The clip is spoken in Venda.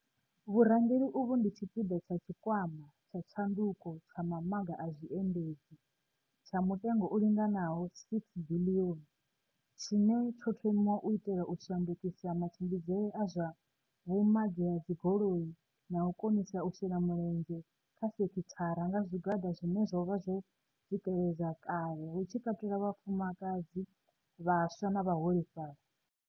Vhurangeli uvhu ndi tshipiḓa tsha Tshikwama tsha Tshanduko tsha Mamaga a Zwiendisi, tsha mutengo u linganaho R6 biḽioni, tshine tsho thomiwa u itela u shandukisa matshimbidzele a zwa vhumagi ha dzigoli na u konisa u shela mulenzhe kha sekithara nga zwigwada zwine zwo vha zwo tsikeledzwa kale hu tshi katelwa vhafumakadzi, vhaswa na vhaholefhali.